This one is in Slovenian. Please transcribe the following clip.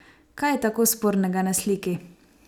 Kaj je tako spornega na sliki?